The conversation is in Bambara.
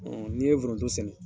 N'i ye forontj sɛnɛ